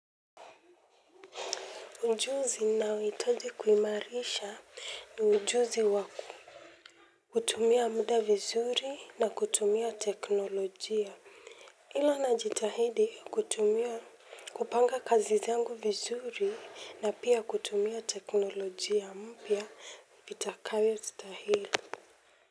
Ujuzi ninaohitaji kuimarisha ni ujuzi waku. Kutumia muda vizuri na kutumia teknolojia. Ila najitahidi kutumia kupanga kazi zangu vizuri na pia kutumia teknolojia mpya itakayo stahili.